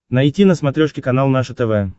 найти на смотрешке канал наше тв